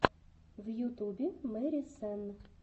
в ютубе мэри сенн